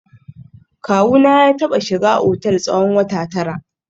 Kawuna ya taba shiga otel tsawon wata tara